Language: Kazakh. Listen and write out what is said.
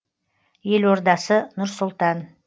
елордасы нұр сұлтан